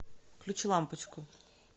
включи лампочку